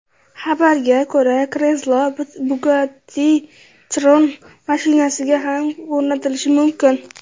Xabarga ko‘ra, kreslo Bugatti Chiron mashinasiga ham o‘rnatilishi mumkin.